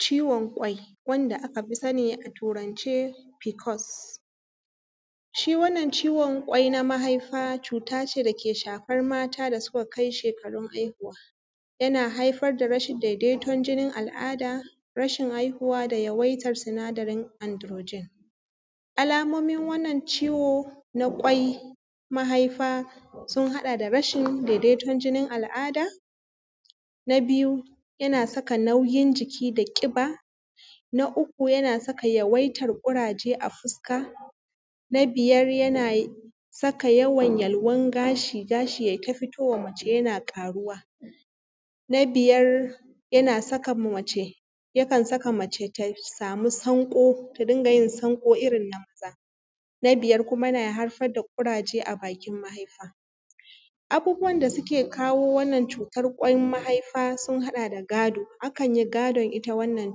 Ciwon ƙwai wanda aka fi sani a turance Pcos. Shi wannan ciwon ƙwai na maihaifa cut ace da ke shafar mata da suka kai shekarun haihuwa. Yana haifar da rashin daidaiton jinin al’ada, rashin haihuwa da yawaitar sinadarin androgen. Alamomin wannan ciwo na ƙwai, mahaifa sun haɗa da rashin daidaiton jinin al’ada, na biyu yana saka nauyin jiki da ƙiba, na uku yana saka yawaitar ƙuraje a fuska, na biyar yana saka yawan yalwan gashi, gashi yai ta fito wa mace yana ƙaruwa, na biyar yakan saka mace ta samu sanƙo ta rinƙa yin sanƙo irin na maza. Na biyar kuma yana haifar da ƙuraje a bakin mahaifa. Abubuwan da suke kawo wannan cutar ƙwan mahaifa sun haɗa da godo. Akan yi gadon ita wannan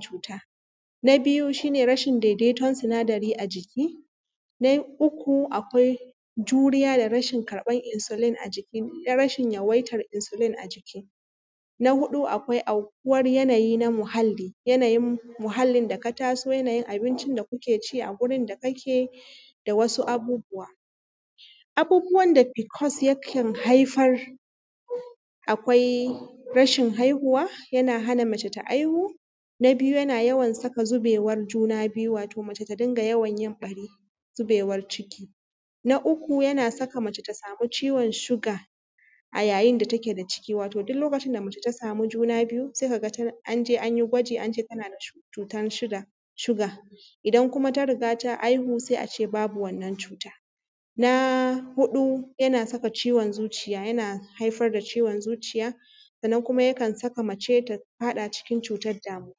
cuta. Na biyu shi ne rashi daidaiton sinadari a jiki, na uku akwai juriya da rashin karɓan insulin a jiki, rashin yawaitar insulin a jiki. Na huɗu akwai aukuwar yanayi na muhalli, yanayin muhallin da ka taso yanayin abincin da kuke ci a gurin da kake da wasu abubuwa. Abubuwan da Pcos yakan haifar akwai rashin haihuwa, yana hana mace ta haihu, na biyu yana yawan saka zubewar juna biyu, wato mace ta dinga yawan yin ɓari, zubewar ciki. Na uku yana saka mace ta samu ciwon siga a yayin da take da ciki. Wato duk lokacin da mace ta samu juna biyu, sai ka ga an je an yi gwaji an ce tana da cutan siga, idan kuma ta riga ta haihu sai a ce babu wannan cuta. Na huɗu yana saka ciwon zuciya, yana haifar da ciwon zuciya, sannan kuma yakan saka mace ta faɗa cikin cutar damuwa.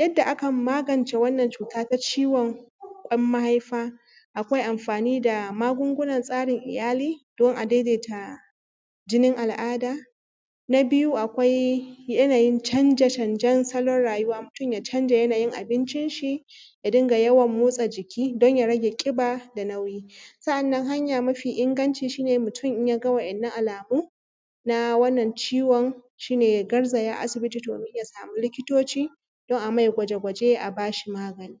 Yadda akan magance wannan cuta ta ciwon ƙwan mahaifa, akwai amfani da magungunan tsarin iyali, don a daidaita jinin al’ada, na biyu akwai yanayi canje canjen salon rayuwa, mutum ya canja yanayi abinci shi, ya dinga yawan motsa jiki don ya rage ƙiba da nauyi. Sa’annan hanya mafi inganci shi ne mutum in ya ga wa’innan alamun, na wannan ciwon shi ne ya garzaya asibiti domin ya samu likitoci, don a mai gwaje gwaje a bas hi magani.